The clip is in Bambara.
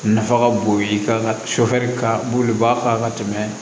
Nafa ka bon i ka sɔ ka bulu b'a faga ka tɛmɛ